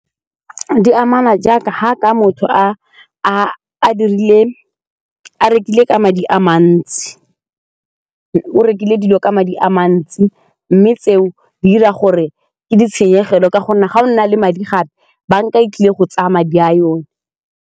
D amana jaaka ga ka motho a rekile ka madi a mantsi, o rekile dilo ka madi a mantsi mme tseo di 'ira gore ke ditshenyegelo ka gonne ga o na le madi gape banka e tlile go tsaya madi a yone.